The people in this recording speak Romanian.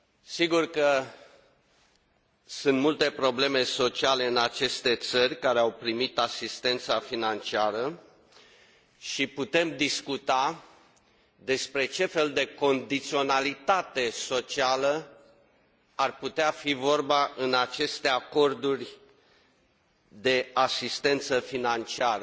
Sigur că sunt multe probleme sociale în aceste țări care au primit asistența financiară și putem discuta despre ce fel de condiționalitate socială ar putea fi vorba în aceste acorduri de asistență financiară.